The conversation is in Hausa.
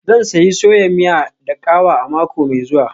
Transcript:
Zan sayi soya miya da kawa a mako mai zuwa.